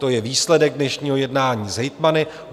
To je výsledek dnešního jednání s hejtmany.